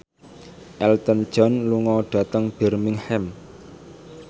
Elton John lunga dhateng Birmingham